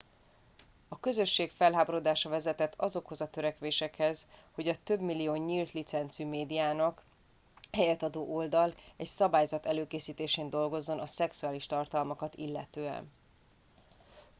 a közösség felháborodása vezetett azokhoz a törekvésekhez hogy a több millió nyílt licencű médiának helyet adó oldal egy szabályzat előkészítésén dolgozzon a szexuális tartalmakat illetően